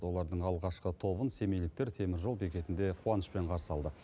олардың алғашқы тобын семейліктер теміржол бекетінде қуанышпен қарсы алды